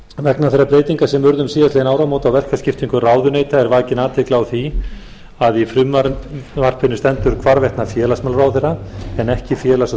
vegna þeirra breytinga sem urðu um síðastliðin áramót á verkaskiptingu ráðuneyta er vakin athygli á því að í frumvarpinu stendur hvarvetna félagsmálaráðherra en ekki félags og